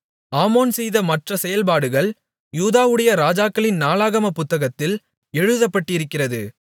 ஆமோன் செய்த மற்ற செயல்பாடுகள் யூதாவுடைய ராஜாக்களின் நாளாகமப் புத்தகத்தில் எழுதப்பட்டிருக்கிறது